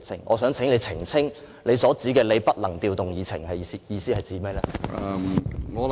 我想請你澄清，你所指的你不能調動議程是甚麼意思？